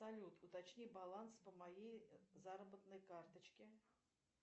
салют уточни баланс по моей заработной карточке